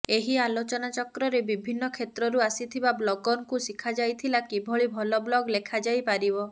ଏହି ଆଲୋଚନାଚକ୍ରରେ ବିଭିନ୍ନ କ୍ଷେତ୍ରରୁ ଆସିଥିବା ବ୍ଲଗରଙ୍କୁ ଶିଖାଯାଇଥିଲା କିଭଳି ଭଲ ବ୍ଲଗ୍ ଲେଖାଯାଇପାରିବ